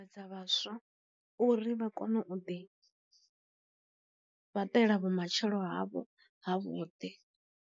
Dza vhaswa uri vha kone u ḓi fhaṱela vhumatshelo havho ha vhuḓi.